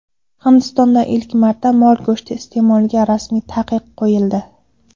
Hindistonda ilk marta mol go‘shti iste’moliga rasmiy taqiq qo‘yildi.